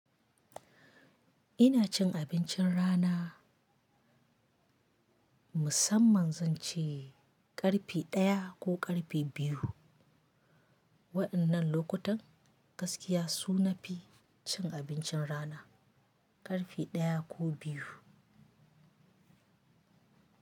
Ina cin abincin rana, musamman zan ci ƙarfi ɗaya ko ƙarfi biyu. Waɗannan lokutan gaskiya su nafi cin abincin rana ƙarfi ɗaya ko biyu.